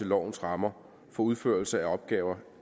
lovens rammer for udførelse af opgaver